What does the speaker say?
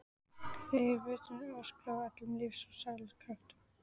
Þær veinuðu og öskruðu af öllum lífs og sálar kröftum.